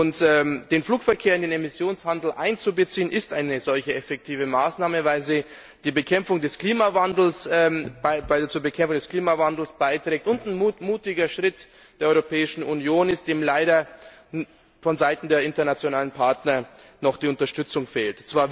Und den Flugverkehr in den Emissionshandel einzubeziehen, ist eine solche effektive Maßnahme, weil sie zur Bekämpfung des Klimawandels beiträgt und ein mutiger Schritt der Europäischen Union ist, dem leider vonseiten der internationalen Partner noch die Unterstützung fehlt.